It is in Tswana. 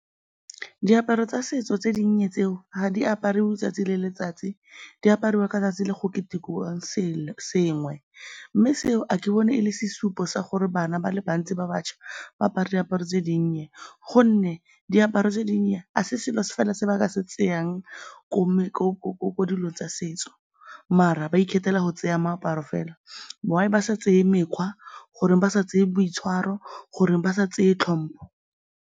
Diaparo tsa setso tse dinnye tseo, ga di apariwe 'tsatsi le letsatsi, di apariwa ka tsatsi le go ketekiwang sengwe mme seo ga ke bone e le sesupo sa gore bana ba le bantsi ba bašwa ba apare diaparo tse dinnye gonne diaparo tse dinnye ga se selo se fela ba ka se tsayang ko dilong tsa setso, mara ba ikgethela go tseya moaparo fela. Why ba sa tseye mekgwa? Goreng ba sa tseye boitshwaro? Goreng ba sa tseye tlhompho?